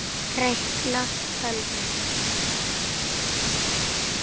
Reikna- tölvur